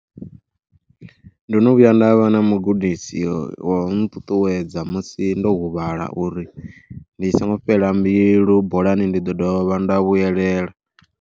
Ndo no vhuya nda vha na mugudisi wa u nṱuṱuwedza musi ndo huvhala uri ndi songo fhela mbilu, bolani ndi ḓo dovha nda vhuyelela.